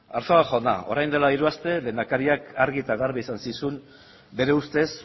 arzuaga jauna orain dela hiru aste lehendakariak argi eta garbi esan zizun bere ustez